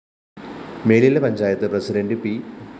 Melila panchayat president P